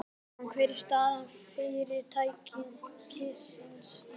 Jóhann, hver er staða fyrirtækisins í dag?